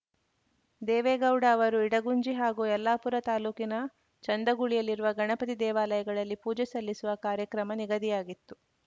ದೇವೇಗೌಡ ಅವರು ಇಡಗುಂಜಿ ಹಾಗೂ ಯಲ್ಲಾಪುರ ತಾಲೂಕಿನ ಚಂದಗುಳಿಯಲ್ಲಿರುವ ಗಣಪತಿ ದೇವಾಲಯಗಳಲ್ಲಿ ಪೂಜೆ ಸಲ್ಲಿಸುವ ಕಾರ್ಯಕ್ರಮ ನಿಗದಿಯಾಗಿತ್ತು